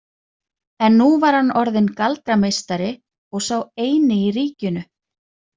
En nú var hann orðinn galdrameistari og sá eini í ríkinu.